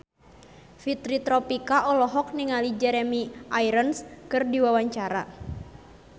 Fitri Tropika olohok ningali Jeremy Irons keur diwawancara